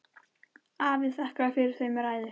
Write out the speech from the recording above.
Afi þakkaði fyrir þau með ræðu.